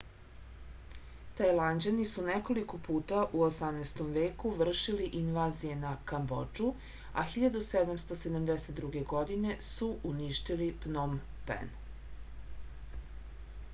tajlanđani su nekoliko puta u 18. veku vršili invazije na kambodžu a 1772. godine su uništili pnom pen